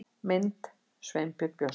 Mynd: Sveinbjörn Björnsson